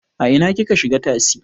A ina kika shiga tasi?